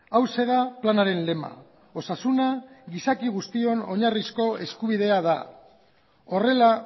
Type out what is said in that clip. hauxe da planaren lema osasuna gizaki guztion oinarrizko eskubidea da horrela